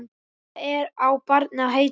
Hvað á barnið að heita?